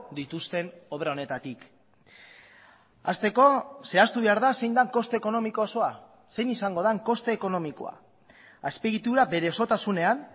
dituzten obra honetatik hasteko zehaztu behar da zein den koste ekonomiko osoa zein izango den koste ekonomikoa azpiegitura bere osotasunean